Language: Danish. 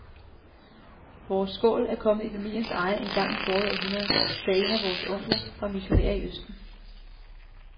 Vores skål er kommet i familiens eje engang i forrige århundrede, da en af vore onkler var missionær i østen.